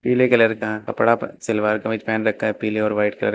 पीले कलर का कपड़ा सलवार कमीज पहन रखा है पीले और व्हाइट कलर का।